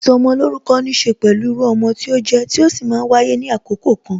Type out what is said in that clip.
Ìsọmolórúkọ níse pẹ̀lú irú ọmọ tí ó jẹ, tí ó sì máa ń wáyé ní àkókò kan